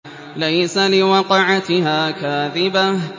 لَيْسَ لِوَقْعَتِهَا كَاذِبَةٌ